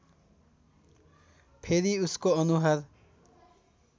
फेरि उसको अनुहार